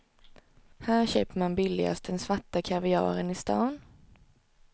Här köper man billigast den svarta kaviaren i stan.